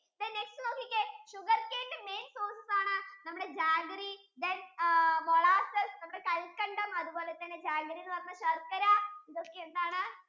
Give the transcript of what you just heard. then next നോകിക്കേ sugarcane ന്റെ main sources ആണ് നമ്മുടെ jaggery then molasses കൽക്കണ്ടം അതുപോലെ തന്നെ jaggery എന്ന് പറയുന്നത് ശർക്കര ഇതൊക്കെ എന്താണ്